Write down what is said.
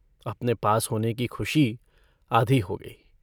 अपने पास होने की खुशी आधी हो गई।